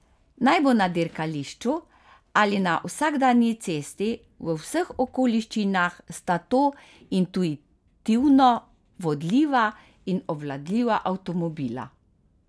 Naj bo na dirkališču ali na vsakdanji cesti, v vseh okoliščinah sta to intuitivno vodljiva in obvladljiva avtomobila.